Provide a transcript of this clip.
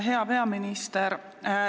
Hea peaminister!